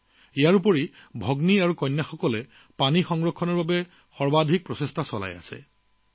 লগতে আমাৰ ছোৱালী ভগ্নীসকলে পানী সংৰক্ষণৰ বাবে চাৰিওফালে প্ৰচেষ্টা চলাইছে